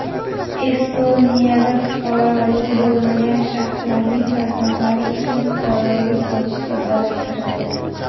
Estoniyada fuqaroligi bo‘lmagan shaxslarning farzandlari uchun fuqarolik olish soddalashtirildi.